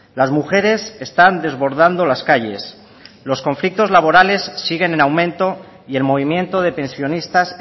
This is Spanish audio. las mujeres están desbordando las calles los conflictos laborales siguen en aumento y el movimiento de pensionistas